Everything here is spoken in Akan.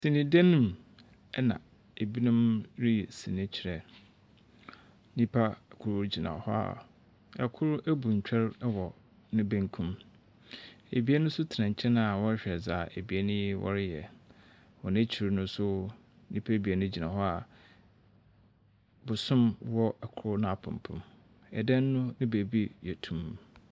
Sene dan mu na binom reyi sene kyerɛ. Nyimpa kor gyina hɔ a kor ebu ntwer wɔ ne benkum, ebien nso tsena nkyɛn a wɔrehwɛ dza ebien yi reyɛ. Hɔn ekyir no nso nyimpa ebien gyina hɔ a bosom wɔ kor n'apepem. Ɛda no beebi yɛ tumm.